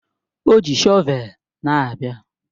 O ji shọvel na-abịa